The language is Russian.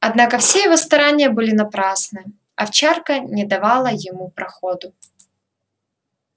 однако все его старания были напрасны овчарка не давала ему проходу